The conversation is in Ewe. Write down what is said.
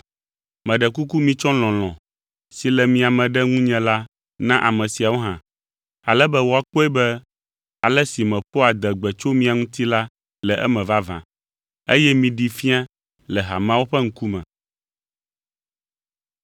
Meɖe kuku mitsɔ lɔlɔ̃ si le mia me ɖe ŋunye la na ame siawo hã, ale be woakpɔe be ale si meƒoa adegbe tso mia ŋuti la le eme vavã, eye miɖee fia le hameawo ƒe ŋkume.